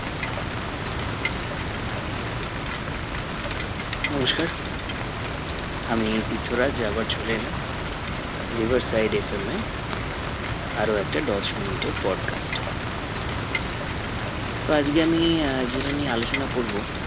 নমস্কার আমি তীর্থরাজ আবার চলে এলাম riversideFM এ আরো একটা দশ মিনিটের broadcast এ তো আজকে আমি আহ যেটা নিয়ে আলোচনা করবো